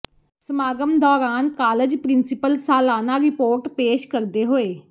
ਸਮਾਗਮ ਦੌਰਾਨ college principal ਸਾਲਾਨਾ ਰਿਪੋਰਟ ਪੇਸ਼ ਕਰਦੇ ਹੋਏ